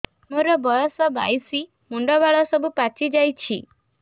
ମୋର ବୟସ ବାଇଶି ମୁଣ୍ଡ ବାଳ ସବୁ ପାଛି ଯାଉଛି